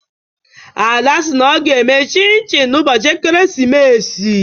Ada si na ọ ga-eme Chin Chin n'ụbọchị ekeresimesi.